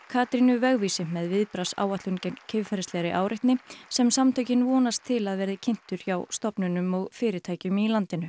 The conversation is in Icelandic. Katrínu vegvísi með viðbragðsáætlun gegn kynferðislegri áreitni sem samtökin vonast til að verði kynntur hjá stofnunum og fyrirtækjum í landinu